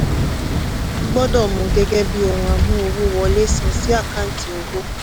gbọ́dọ̀ mú u gẹ́gẹ́ bí ohun amú-owó-wọlé sán sí àkáǹtì owó.